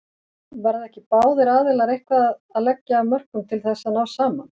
Verða ekki báðir aðilar eitthvað að leggja af mörkum til þess að ná saman?